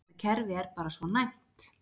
Þetta kerfi er bara svona næmt.